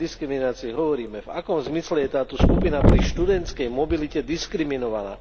O akej diskriminácii hovoríme, v akom zmysle je táto skupina pri študentskej mobilite diskriminovaná?